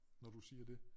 Når du siger det